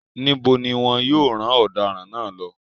Níbo ni wọn yóò rán ọ̀daràn náà lọ?